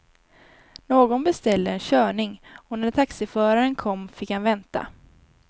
Någon beställde en körning och när taxiföraren kom fick han vänta.